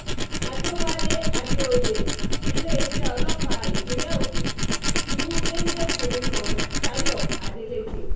àdẹ̀wálé àdèoyè iléeṣẹ́ um ọlọ́pàá ìpínlẹ̀ ogun ti mú géńdé-kùnrin kan táyọ adélèké um